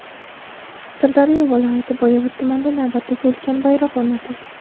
Sirdaryo viloyati Boyovut tumanida navbatdagi ulkan bayroq o‘rnatildi.